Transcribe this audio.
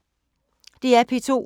DR P2